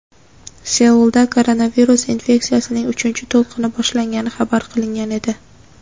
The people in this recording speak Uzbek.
Seulda koronavirus infeksiyasining uchinchi to‘lqini boshlangani xabar qilingan edi.